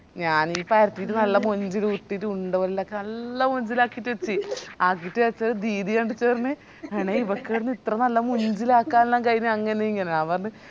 ഞാനീ പരത്തിറ്റ് നല്ല മൊഞ്ചില് ഉരുട്ടിറ്റ് ഉണ്ട ഉണ്ടക്ക് നല്ല മൊഞ്ചിലാക്കിറ്റ് എത്തി ആക്കിറ്റ് പഷെ ദിദി കണ്ടിറ്റ് പറഞ് എണെ ഇവക്ക് ഇടന്ന ഇത്ര നല്ല മൊഞ്ചില് ആക്കനെല്ലാം കയിന്നെ അങ്ങനെ ഇങ്ങനെ ഞാൻ പറഞ്